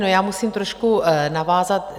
No, já musím trošku navázat.